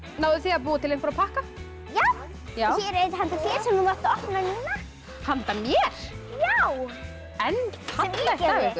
náðuð þið að búa til einhverja pakka já hér er einn handa þér sem þú mátt opna núna handa mér já en fallegt af ykkur